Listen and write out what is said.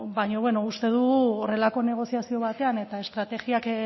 beno uste dugu horrelako negoziazio batean eta estrategiak